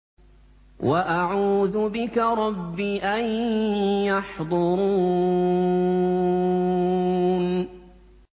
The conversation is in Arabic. وَأَعُوذُ بِكَ رَبِّ أَن يَحْضُرُونِ